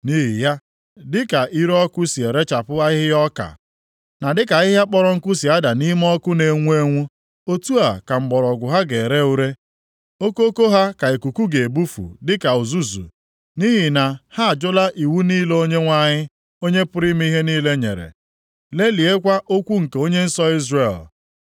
Nʼihi ya, dịka ire ọkụ si erechapụ ahịhịa ọka, na dịka ahịhịa kpọrọ nkụ si ada nʼime ọkụ na-enwu enwu, otu a ka mgbọrọgwụ ha ga-ere ure okoko ha ka ikuku ga-ebufu dịka uzuzu; nʼihi na ha ajụla iwu niile Onyenwe anyị, Onye pụrụ ime ihe niile nyere, lelịakwa okwu nke Onye nsọ Izrel.